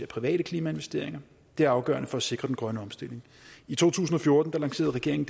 private klimainvesteringer det er afgørende for at sikre den grønne omstilling i to tusind og fjorten lancerede regeringen